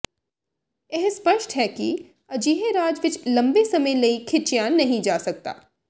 ਇਹ ਸਪੱਸ਼ਟ ਹੈ ਕਿ ਅਜਿਹੇ ਰਾਜ ਵਿਚ ਲੰਬੇ ਸਮੇਂ ਲਈ ਖਿੱਚਿਆ ਨਹੀਂ ਜਾ ਸਕਦਾ